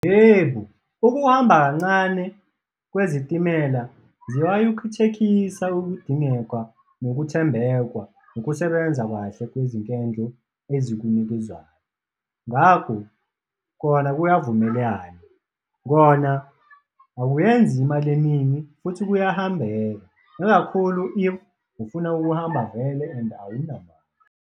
Yebo, ukuhamba kancane kwezitimela ziyayikhuthekisa ukudingeka nokuthembekwa nokusebenza kahle kwezinkendlo ezikunikezayo. Ngakho, kona kuyavumelana, kona akuyenzi imali eningi futhi kuyahambeka, nakakhulu if ufuna ukuhamba vele and awuna mali.